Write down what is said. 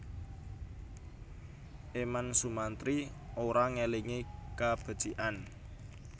Eman Sumantri ora ngelingi kabecikan